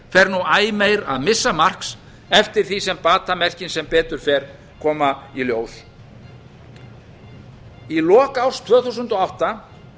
fer nú æ meira að missa marks eftir því sem batamerkin sem betur fer koma í ljós í lok árs tvö þúsund og átta